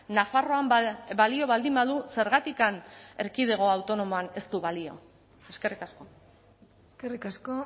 nafarroan balio baldin badu zergatik erkidego autonomoan ez du balio eskerrik asko eskerrik asko